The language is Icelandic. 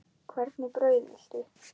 Hvernig brauð viltu?